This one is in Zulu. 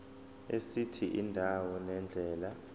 esithi indawo nendlela